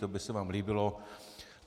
To by se vám líbilo.